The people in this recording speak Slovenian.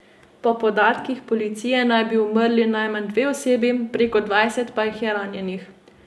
Po podatkih policije naj bi umrli najmanj dve osebi, preko dvajset pa jih je ranjenih.